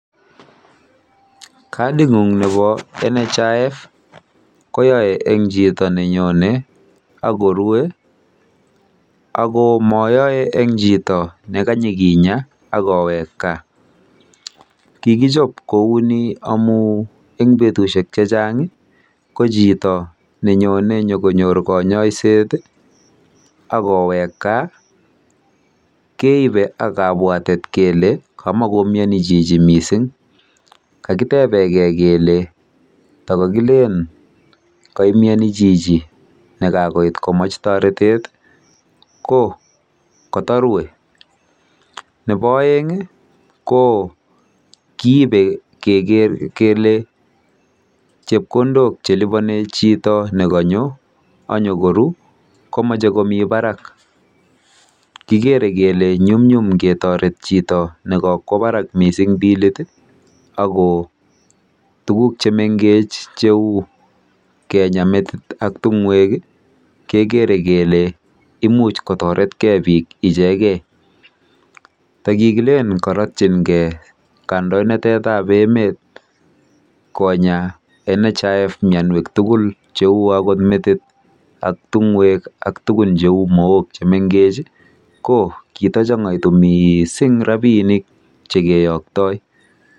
Kading'ung nebo NHIF koyae eng chito nenyone akorue ako mayoe eng chito nekinyoi akowek kaa. Kikichob kouni amuu eng betusiek checheng ko chito nenyonei konyor kanyoiset akowek kaa keibe ak kabwateet kele kamakomioni chichi mising. Kakitebegei kele tokokilen kaimyoni chichi nekakomech toretet ko kotorue. Nebo oeng keibe keker kele chito nekekonyo akoru